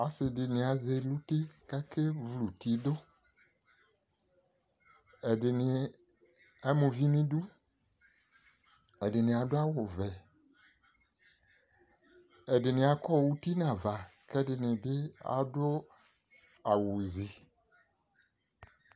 Ɔse de ne azɛ no uti kake vu uti doƐde ne ama uvi neduƐde ne ado awuvɛƐde ne akɔ uti nava ke ɛdene akɔ awuzi